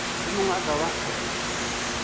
yo mongwe a ka ba